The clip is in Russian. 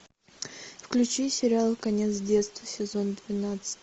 включи сериал конец детства сезон двенадцать